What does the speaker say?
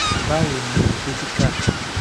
bawo ni o? dokita